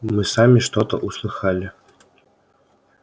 мы сами что-то услыхали